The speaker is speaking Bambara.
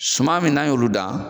Suman min n'an y'olu dan